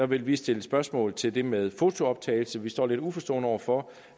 vil vi stille spørgsmål til det med fotooptagelse vi står lidt uforstående over for